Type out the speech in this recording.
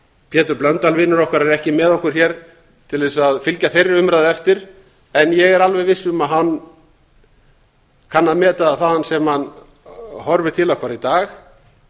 pétur blöndal vinur okkar er ekki með okkur hér til þess að fylgja þeirri umræðu eftir en ég er alveg viss um að hann kann að meta það þaðan sem hann horfir til okkar í dag